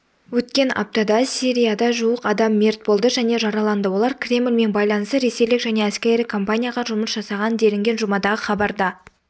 өткен аптада сирияда жуық адам мерт болды және жараланды олар кремлмен байланысты ресейлік жеке әскери компанияға жұмыс жасаған делінген жұмадағы хабарда